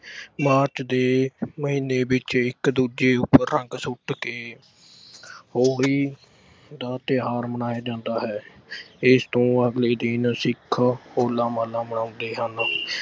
March ਦੇ ਮਹੀਨੇ ਵਿੱਚ ਇੱਕ ਦੂਜੇ ਉੱਪਰ ਰੰਗ ਸੁੱਟ ਕੇ ਹੋਲੀ ਦਾ ਤਿਓਹਾਰ ਮਨਾਇਆ ਜਾਂਦਾ ਹੈ। ਇਸ ਤੋਂ ਅਗਲੇ ਦਿਨ ਸਿੱਖ ਹੋਲਾ ਮੁਹੱਲਾ ਮਨਾਉਂਦੇ ਹਨ।